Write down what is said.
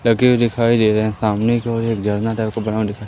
लगे हुए दिखाई दे रहे हैं सामने की ओर एक झरना टाइप का बना हुआ दिखा--